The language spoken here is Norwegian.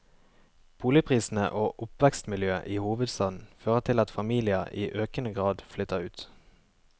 Boligprisene og oppvekstmiljøet i hovedstaden fører til at familier i økende grad flytter ut.